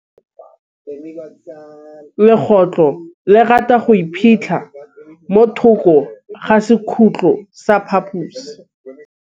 Legôtlô le rata go iphitlha mo thokô ga sekhutlo sa phaposi.